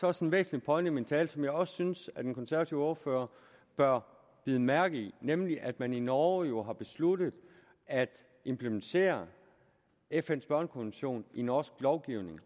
også en væsentlig pointe i min tale som jeg også synes at den konservative ordfører bør bide mærke i nemlig at man i norge jo har besluttet at implementere fns børnekonvention i norsk lovgivning